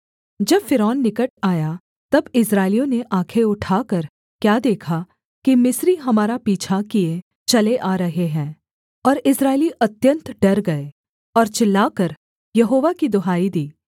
जब फ़िरौन निकट आया तब इस्राएलियों ने आँखें उठाकर क्या देखा कि मिस्री हमारा पीछा किए चले आ रहे हैं और इस्राएली अत्यन्त डर गए और चिल्लाकर यहोवा की दुहाई दी